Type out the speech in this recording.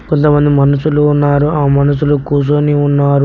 కొంతమంది మనుషులు ఉన్నారు ఆ మనుషులు కూసోని ఉన్నారు.